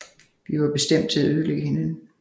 Vi var bestemt til at ødelægge hinanden